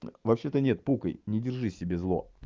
вообще-то нет пукай не держи в себе зло